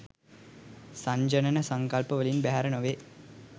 සංජානන සංකල්පවලින් බැහැර නො වේ.